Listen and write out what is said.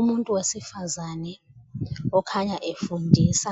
Umuntu wesifazane okhanya efundisa